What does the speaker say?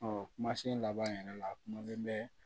kumasen laban yɛrɛ la a kumalen bɛ